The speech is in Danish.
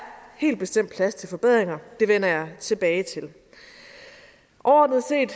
helt bestemt plads til forbedringer og det vender jeg tilbage til overordnet set